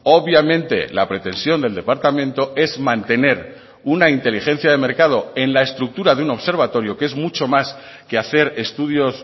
obviamente la pretensión del departamento es mantener una inteligencia de mercado en la estructura de un observatorio que es mucho más que hacer estudios